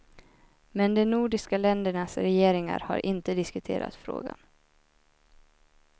Men de nordiska ländernas regeringar har inte diskuterat frågan.